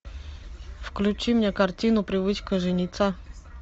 включи мне картину привычка жениться